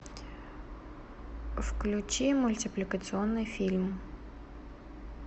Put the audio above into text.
включи мультипликационный фильм